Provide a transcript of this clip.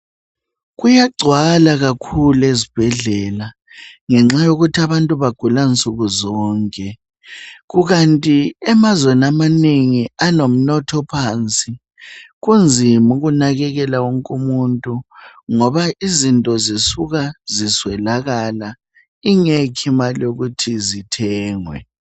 Kuyagcwala kakhulu ezibhedlela ngenxa yokuthi abantu bagula nsukuzonke. Kukanti emazweni amanengi alomnotho ophansi kunzima ukunakekela wonke umuntu izinto zisuka ziswelakale ngoba ingekho imali yokuthi zithengwe.